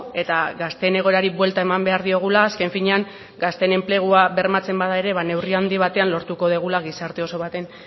eta gazteen egoerari buelta eman behar diogula azken finean gazteen enplegua bermatzen bada ere neurri handi batean lortuko dugula gizarte oso baten